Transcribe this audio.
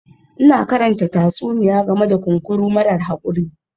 Ina karanta tatsuniya game da kunkuru marar haƙuri